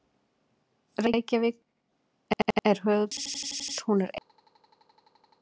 Reykjavík er höfuðborg Íslands. Hún er eina borg landsins.